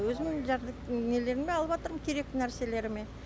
өзім нелеріме алыватырмын керекті нәрселеріме